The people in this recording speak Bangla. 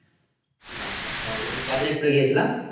বাব্বা ছ হাজার করে কয় দিনের tour গিয়েছিলা?